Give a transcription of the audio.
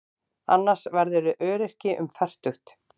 Annars verðurðu öryrki um fertugt.